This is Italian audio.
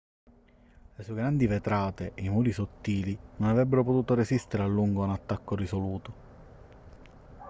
le sue grandi vetrate e i muri sottili non avrebbero potuto resistere a lungo a un attacco risoluto